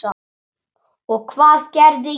Og hvað gerði ég?